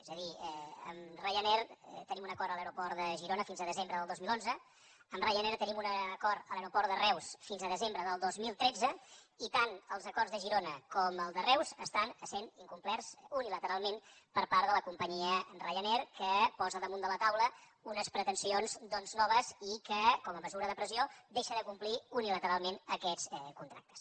és a dir amb ryanair tenim un acord a l’aeroport de girona fins a desembre del dos mil onze amb ryanair tenim un acord a l’aeroport de reus fins a desembre del dos mil tretze i tant els acords de girona com el de reus estan sent incomplerts unilateralment per part de la companyia ryanair que posa damunt de la taula unes pretensions doncs noves i que com a mesura de pressió deixa de complir unilateralment aquests contractes